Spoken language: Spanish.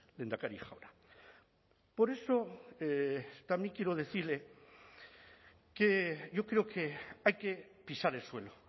lehendakari jauna por eso también quiero decirle que yo creo que hay que pisar el suelo